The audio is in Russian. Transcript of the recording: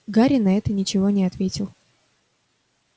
гарри на это ничего не ответил